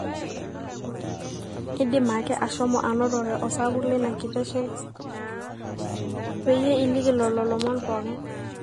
indim ake ashomo anotore osapuk leina kiteshen peyie iliki lolo lomon pooki